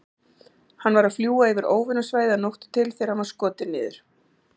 Hann var að fljúga yfir óvinasvæðið að nóttu til þegar hann var skotinn niður.